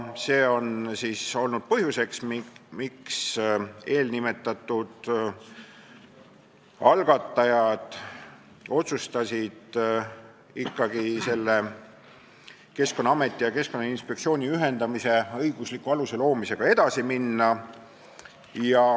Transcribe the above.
See on olnud põhjuseks, miks eelnimetatud algatajad otsustasid ikkagi selle Keskkonnaameti ja Keskkonnainspektsiooni ühendamise õigusliku aluse loomisega edasi minna.